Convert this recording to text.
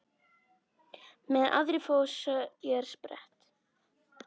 Meðan aðrir fá sér sprett?